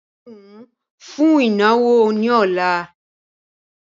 Di irun ìhun fún ìnáwó ni ọ̀la!